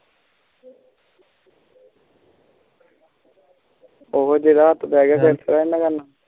ਉਹ ਜਿਹੜੇ ਪੈ ਗਿਆ ਟੇਂਸ਼ਨ ਓਹਨੂੰ